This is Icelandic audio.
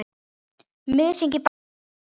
Mysingi bætt við í endann.